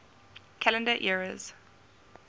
calendar eras